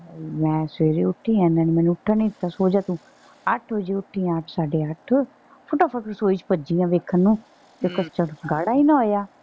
ਮੈਂ ਸਵੇਰੇ ਉੱਠੀ ਆ। ਇਹਨਾਂ ਨੇ ਮੈਨੂੰ ਉੱਠਣ ਦਿੱਤਾ ਸੋ ਜਾ ਤੂੰ। ਅੱਠ ਵਜੇ ਉੱਠੀ ਆ ਅੱਠ ਸਾਡੇ ਅੱਠ। ਫਟਾ ਫੱਟ ਰਸੋਈ ਚ ਭੱਜੀ ਆ ਵੇਖਣ ਨੂੰ ਤੇ custard ਗਾੜ੍ਹਾ ਹੀ ਨਾ ਹੋਇਆ।